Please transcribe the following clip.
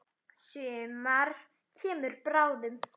Sumar kemur bráðum.